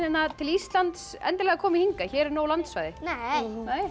til Íslands endilega komið hingað hér er nóg landsvæði nei